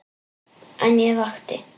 En ég vakti.